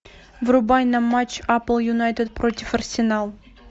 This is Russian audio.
врубай нам матч апл юнайтед против арсенал